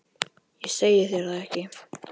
Ég segi þér það ekki.